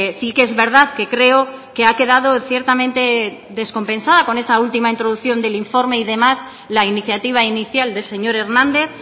sí que es verdad que creo que ha quedado ciertamente descompensada con esa última introducción del informe y demás la iniciativa inicial del señor hernández